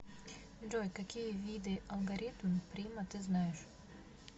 джой какие виды алгоритм прима ты знаешь